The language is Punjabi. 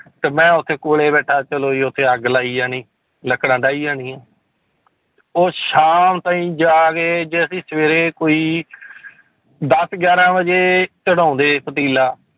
ਤੇ ਮੈਂ ਉੱਥੇ ਕੋਲੇ ਬੈਠਾ ਚਲੋ ਜੀ ਉੱਥੇ ਅੱਗ ਲਾਈ ਜਾਣੀ ਲੱਕੜਾ ਡਾਹੀ ਜਾਣੀਆਂ ਉਹ ਸ਼ਾਮ ਥਾਈਂ ਜਾ ਕੇ ਜੇ ਅਸੀਂ ਸਵੇਰੇ ਕੋਈ ਦਸ ਗਿਆਰਾਂ ਵਜੇ ਚੜ੍ਹਾਉਂਦੇ ਪਤੀਲਾ